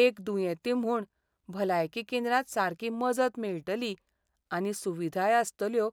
एक दुयेंती म्हूण, भलायकी केंद्रांत सारकी मजत मेळटली आनी सुविधाय आसतल्यो